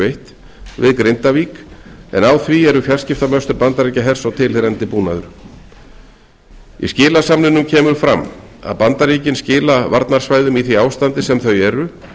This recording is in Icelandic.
við grindavík en á því eru fjarskiptamöstur bandaríkjahers og tilheyrandi búnaður í skilasamningnum kemur fram að bandaríkin skila varnarsvæðum í því ástandi sem þau eru